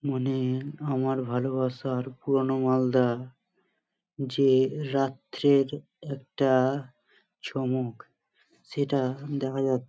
মানে-এ আমার ভালোবাসার পুরোনো মালদা যে রাত্রের একটা চমক সেটা দেখা যা--